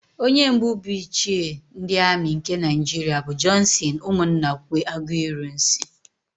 Onye mbụ bụ Ichie ndị Amị nke Naịjiria bụ Jọnsịn Ụmụnnakwe Aguiyi-Ironsị.